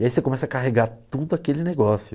E aí você começa a carregar tudo aquele negócio.